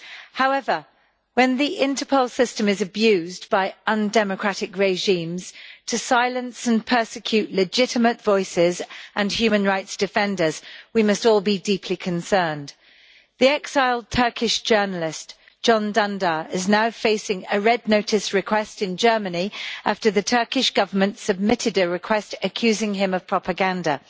However, when the Interpol system is abused by undemocratic regimes to silence and persecute legitimate voices and human rights defenders, we must all be deeply concerned. The exiled Turkish journalist, Can Dündar, is now facing a Red Notice request in Germany after the Turkish Government submitted a request, accusing him of propaganda.